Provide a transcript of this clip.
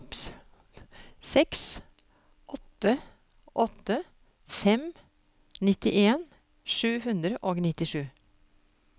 seks åtte åtte fem nittien sju hundre og nittisju